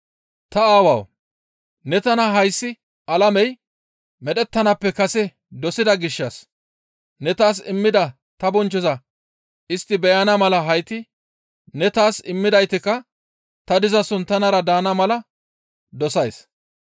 «Ta Aawawu! Ne tana hayssi alamey medhettanaappe kase dosida gishshas ne taas immida ta bonchchoza istti beyana mala hayti ne taas immidaytikka ta dizason tanara daana mala dosays.